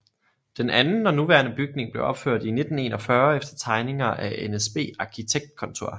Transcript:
Den anden og nuværende bygning blev opført i 1941 efter tegninger af NSB Arkitektkontor